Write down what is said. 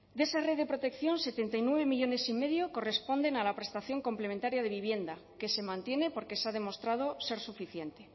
de esa red de protección setenta y nueve millónes y medio corresponden a la prestación complementaria de vivienda que se mantiene porque se ha demostrado ser suficiente